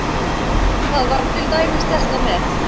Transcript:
Það var til dæmis þetta með